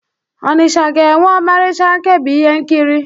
Ọnịcha ga-enwe ọmarịcha nkebi ihe nkiri.